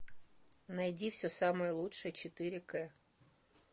найди все самое лучшее четыре к